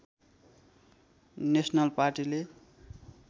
national पार्टीले